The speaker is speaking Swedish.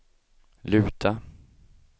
luta